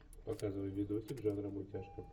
показывай видосик жанра мультяшка